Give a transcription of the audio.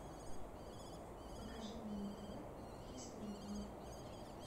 покажи мне на тв хистори два